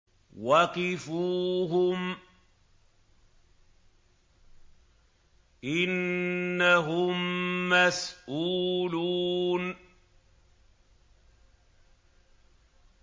وَقِفُوهُمْ ۖ إِنَّهُم مَّسْئُولُونَ